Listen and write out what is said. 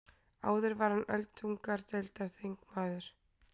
Áður var hann öldungadeildarþingmaður